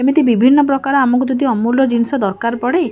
ଏମିତି ବିଭିନ୍ନ ପ୍ରକାରର ଆମକୁ ଯଦି ଅମୂଲ୍ୟ ଜିନିଷ ଦରକାର ପଡେ।